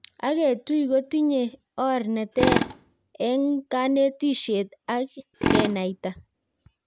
Agetui kotinye orr nr teer eng kanetishiet ak kenaita